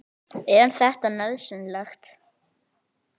Er þetta nauðsynlegt?